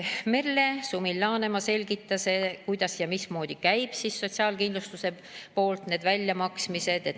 Merle Sumil-Laanemaa selgitas, kuidas ja mismoodi käivad sotsiaalkindlustuses need väljamaksmised.